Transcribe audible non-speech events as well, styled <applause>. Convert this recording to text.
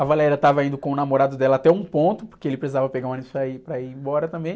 A <unintelligible> estava indo com o namorado dela até um ponto, porque ele precisava pegar um ônibus para ir, para ir embora também.